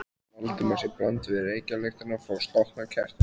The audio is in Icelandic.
Valdimars í bland við reykjarlyktina frá slokknaða kertinu.